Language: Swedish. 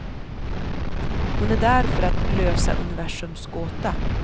Hon är där för att lösa universums gåta.